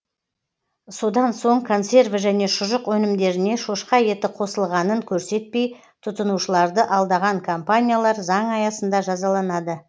содан соң консерві және шұжық өнімдеріне шошқа еті қосылғанын көрсетпей тұтынушыларды алдаған компаниялар заң аясында жазаланады